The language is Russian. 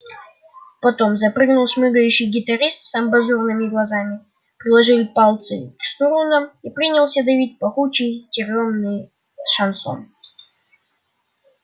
потом занырнул шмыгающий гитарист с амбразурными глазами приложил пальцы к струнам и принялся давить пахучий тюремный шансон